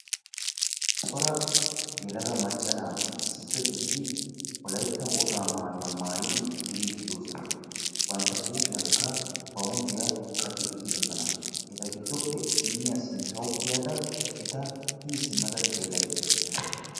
cora yelaga macca naati issippe gididi wolaytta wogaa maayuwaa maayyidi duruddi doosona; bantta huuphiyaankka bawunddiyaa qaci uttdoosona; eta giddoppe issiniya sinttaw kiyyadaa eta hini simma xellaydda dawus.